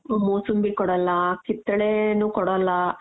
ಮೂಸಂಬಿ ಕೊಡಲ್ಲ ಕಿತ್ತಳೆನೂ ಕೊಡಲ್ಲ.